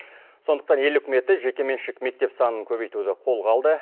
сондықтан ел үкіметі жекеменшік мектеп санын көбейтуді қолға алды